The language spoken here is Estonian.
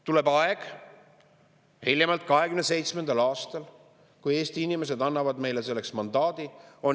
Tuleb aeg, hiljemalt 2027. aastal, kui Eesti inimesed annavad meile selleks mandaadi.